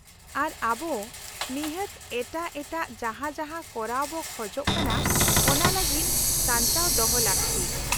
-ᱟᱨ ᱟᱵᱚ ᱱᱤᱦᱟᱹᱛ ᱮᱴᱟᱜ ᱮᱴᱟᱜ ᱡᱟᱦᱟᱸ ᱡᱟᱦᱟᱸ ᱠᱚᱨᱟᱣ ᱵᱚ ᱠᱷᱚᱡ ᱠᱟᱱᱟ ᱚᱱᱟ ᱞᱟᱹᱜᱤᱫ ᱥᱟᱧᱪᱟᱣ ᱫᱚᱦᱚ ᱞᱟᱹᱠᱛᱤ ᱾